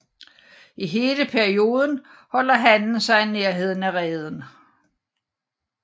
I hele perioden holder hannen sig i nærheden af reden